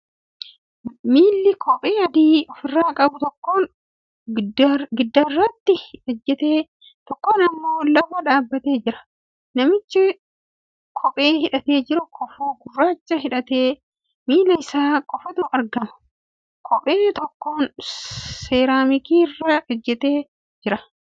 Miilli kophee adadii ofirraa qabu tokkoon giddaaratti ijjatee tokkoon immoo lafa dhaabbatee jira. Namichi kophee hidhatee jiru kofoo gurraacha uffatee miilaa isaa qofatu argama. Kophee tokkoon seeraamikii irra ijjatee jira. Keenyaan qalama gurraacha dibamee jira.